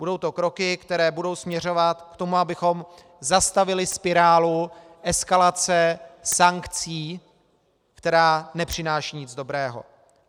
Budou to kroky, které budou směřovat k tomu, abychom zastavili spirálu eskalace sankcí, která nepřináší nic dobrého.